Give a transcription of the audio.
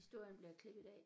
Historien bliver klippet af